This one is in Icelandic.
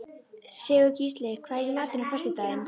Sigurgísli, hvað er í matinn á föstudaginn?